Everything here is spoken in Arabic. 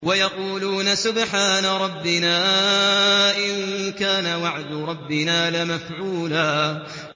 وَيَقُولُونَ سُبْحَانَ رَبِّنَا إِن كَانَ وَعْدُ رَبِّنَا لَمَفْعُولًا